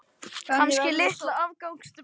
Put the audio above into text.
Kannski litla afgangs stubba.